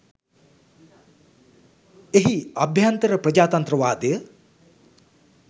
එහි අභ්‍යන්තර ප්‍රජාතන්ත්‍රවාදය